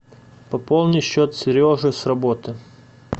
пополни счет сережи с работы